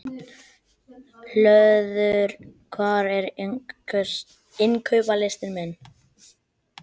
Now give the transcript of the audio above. Hlöður, hvað er á innkaupalistanum mínum?